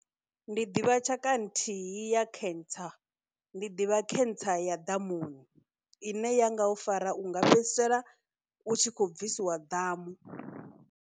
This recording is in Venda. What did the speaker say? Ndi ḓivha tshaka nthihi ya cancer, ndi ḓivha cancer ya ḓamuni ine ya nga u fara u nga fhedzisela u tshi khou bvisiwa ḓamu.